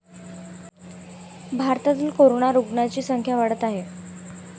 भारतातील कोरोना रुग्णांची संख्या वाढत आहे.